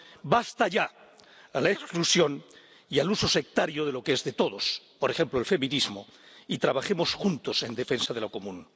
Basta ya a la exclusión y al uso sectario de lo que es de todos —por ejemplo, el feminismo— y trabajemos juntos en defensa de lo común.